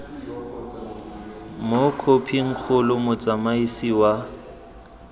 mo khophing kgolo motsamaisi wa